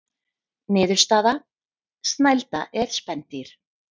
Niðurstaða: Snælda er spendýr.